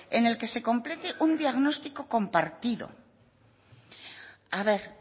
en el que se complete un diagnóstico compartido a ver